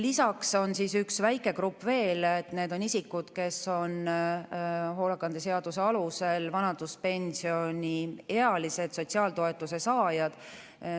Lisaks on üks väike grupp veel, need on isikud, kes on hoolekande seaduse alusel vanaduspensioniealised sotsiaaltoetuse saajad.